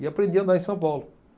E aprendi a andar em São Paulo.